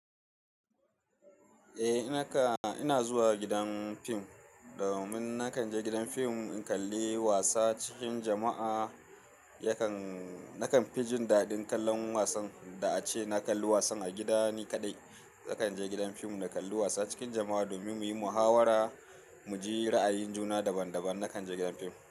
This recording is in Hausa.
Eh, naka-- ina zuwa gidan fim domin na kan je gidan fim in kalli wasa cikin jama'a. Yakan-- na kan fi jin daɗin kallon wasan da a ce na kalli wasan a gidani kaɗai. Na kan je gidan fim na kalli wasa cikin jama'a domin muyi muhawara, mu ji ra'ayin juna daban daban. Na kan je gidan fim.